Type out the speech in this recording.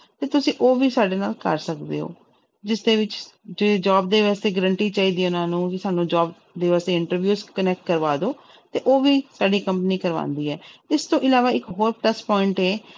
ਤੇ ਤੁਸੀਂ ਉਹ ਵੀ ਸਾਡੇ ਨਾਲ ਕਰ ਸਕਦੇ ਹੋ ਜਿਸਦੇ ਵਿੱਚ ਜੇ job ਦੇ ਵਾਸਤੇ guarantee ਚਾਹੀਦੀ ਹੈ ਇਹਨਾਂ ਨੂੰ ਵੀ ਸਾਨੂੰ job ਦੀ ਬਸ interview connect ਕਰਵਾ ਦਓ ਤੇ ਉਹ ਵੀ ਸਾਡੀ company ਕਰਵਾਉਂਦੀ ਹੈ ਇਸ ਤੋਂ ਇਲਾਵਾ ਇੱਕ ਹੋਰ plus point ਹੈ l